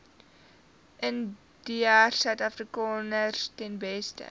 indiërsuidafrikaners ten beste